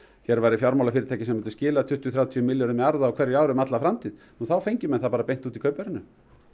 hér væri fjármálafyrirtæki sem myndi skila tuttugu til þrjátíu milljörðum í arð á ári um alla framtíð þá fengju menn það beint út í kaupverðinu